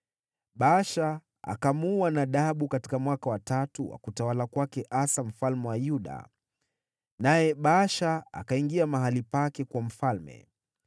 Baasha akamuua Nadabu katika mwaka wa tatu wa utawala wa Asa mfalme wa Yuda, naye Baasha akaingia mahali pake kuwa mfalme.